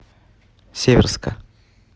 северска